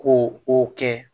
Ko o kɛ